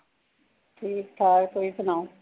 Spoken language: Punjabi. ਠੀਕ-ਠਾਕ ਤੁਸੀਂ ਸੁਣਾਓ।